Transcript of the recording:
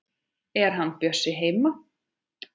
Er hann Bjössi heima?